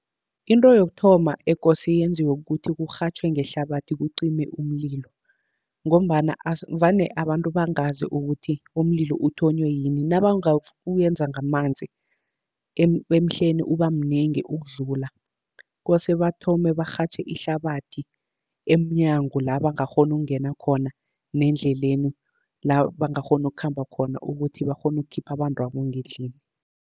Into yokuthoma ekose yenziwe kukuthi kurhatjhwe ngehlabathi kucime umlilo, ngombana vane abantu bangazi ukuthi umlilo uthonywe yini uyenza ngamanzi emhleni uba mnengi ukudlula. Kose bathome barhatjhe ihlabathi emnyango la bangakghona ukungena khona, nendleleni la bangakghona ukukhamba khona, ukuthi bakghone ukukhipha abantwabo ngendlini.